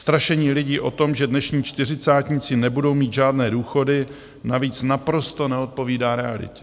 Strašení lidí o tom, že dnešní čtyřicátníci nebudou mít žádné důchody navíc naprosto neodpovídá realitě.